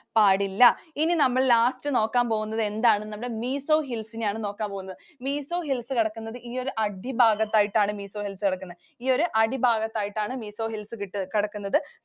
പാടില്ല. ഇനി നമ്മൾ last നോക്കാൻ പോകുന്നത് എന്താണ്? Mizo Hills നെ യാണ് നോക്കാൻ പോകുന്നത്. Mizo Hills കിടക്കുന്നത് ഈ ഒരു അടിഭാഗത്തായിട്ടാണ് Mizo Hills കിടക്കുന്നത്. ഈ ഒരു അടിഭാഗത്തായിട്ടാണ് Mizo Hills കിടക്കുന്നത്.